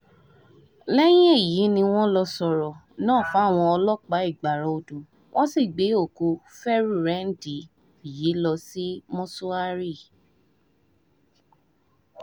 lẹ́yìn èyí ni wọ́n lọ́ọ́ sọ̀rọ̀ náà fáwọn ọlọ́pàá ìgbára-odò wọ́n sì gbé òkú fẹ́rùrẹ́ǹdì yìí lọ sí mọ́ṣúárì